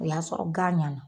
O y'a sɔrɔ gan ɲana.